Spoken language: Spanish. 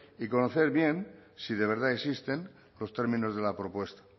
y conocer bien si de verdad existen los términos de la propuesta